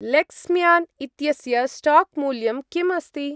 लेक्स्म्यान् इत्यस्य स्टाक्-मूल्यं किम् अस्ति?